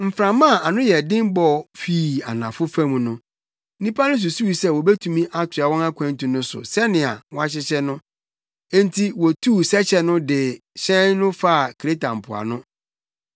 Mframa a ano nyɛ den bɔ fii anafo fam no, nnipa no susuw sɛ wobetumi atoa wɔn akwantu no so sɛnea wɔahyehyɛ no. Enti wotuu sɛkyɛ no de hyɛn no faa Kreta mpoano.